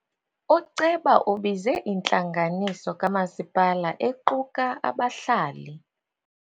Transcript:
Uceba ubize intlanganiso kamasipala equka abahlali.